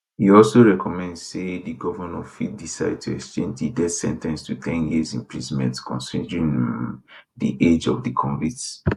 e also recommend say di govnor fit decide to exchange di death sen ten ce to ten years imprisonment considering um di age of di convicts